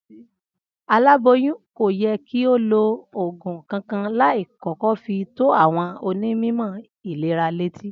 Aĺáboyún kò ye̩ kí ó lo ògùn kankan láì kó̩kó̩ fi tó àwo̩n onímò̩ ìlera létí